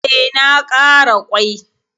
E, na ƙara ƙwai.